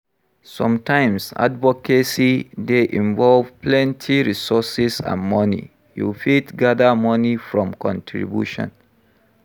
Sometimes advocacy dey involve plenty resources and money, you fit gather money from contribution